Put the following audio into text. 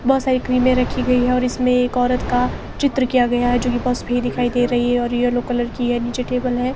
बहोत सारी क्रीमें रखी गई है इसमें एक औरत का चित्र किया गया है जो की बस भी दिखाई दे रही है येलो कलर की है नीचे टेबल है।